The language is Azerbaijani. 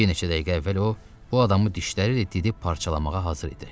Bir neçə dəqiqə əvvəl o bu adamı dişləri ilə didib parçalamağa hazır idi.